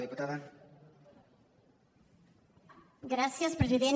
gràcies president